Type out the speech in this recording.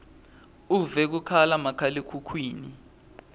uve kukhala makhalekhukhwini